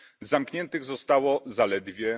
Zamkniętych zostało zaledwie